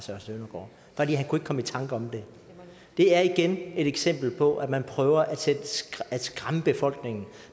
kunne ikke komme i tanker om det det er igen et eksempel på at man prøver at skræmme befolkningen